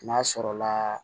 N'a sɔrɔla